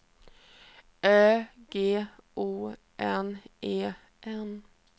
Ö G O N E N